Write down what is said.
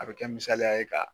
A bɛ kɛ misaliya ye ka